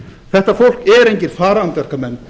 þetta fólk er engir farandverkamenn